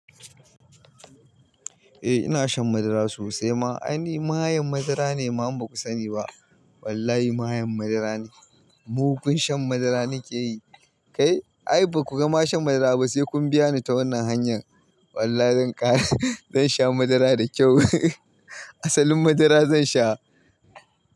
Eh ina shan madara sosai ma. Ai ni mayen madara ne man baku sani ba. Wallahi mayen madara ne. Mu kun shan madara nike yi. Kai ai baku gama shan madara ba sai kun biya ni ta wannan hanyar. Wallahi zan ƙare, zan sha madara da kyau. Asalin madara zan sha.